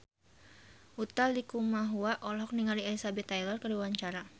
Utha Likumahua olohok ningali Elizabeth Taylor keur diwawancara